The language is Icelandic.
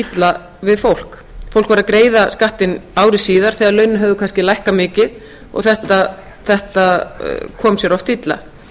illa við fólk fólk greiddi skattinn ári síðar þegar launin höfðu kannski lækkað mikið og þetta kom sér oft illa